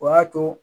O y'a to